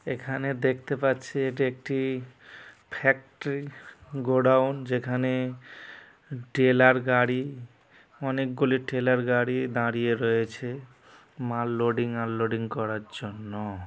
এখানে দেখতে পাচ্ছি এটা একটি ফ্যাক্টরি গোডাউন যেখানে টেলার গাড়ি অনেকগুলি ট্রেলার গাড়ি দাঁড়িয়ে রয়েছে মাল লোডিং আনলোডিং করার জন্য।